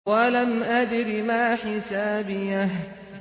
وَلَمْ أَدْرِ مَا حِسَابِيَهْ